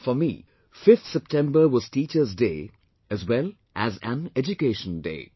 For me, 5th September was Teachers Day as well as an Education Day